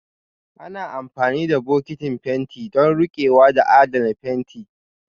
Ana amfani da bokitin fenti don riƙewa da adana fenti